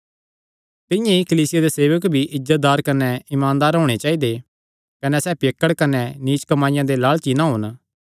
तिंआं ई कलीसिया दे सेवक भी इज्जतदार कने ईमानदार होणे चाइदे कने सैह़ पियक्कड़ कने नीच कमाईया दे लालची ना होन